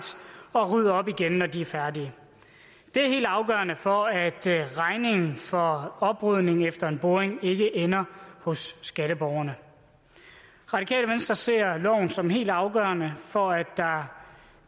og rydde op igen når de er færdige det er helt afgørende for at regningen for oprydningen efter en boring ikke ender hos skatteborgerne radikale venstre ser loven som helt afgørende for at der